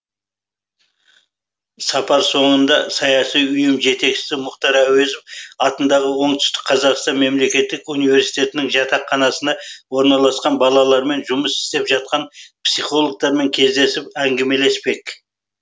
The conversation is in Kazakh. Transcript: сапар соңында саяси ұйым жетекшісі мұхтар әуезов атындағы оңтүстік қазақстан мемлекеттік университетінің жатақханасына орналасқан балалармен жұмыс істеп жатқан психологтармен кездесіп әңгімелеспек